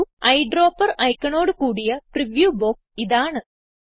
ഒരു എയ്ഡ്രോപ്പർ ഐക്കണോട് കൂടിയ പ്രിവ്യൂ ബോക്സ് ഇതാണ്